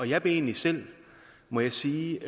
jeg blev egentlig selv må jeg sige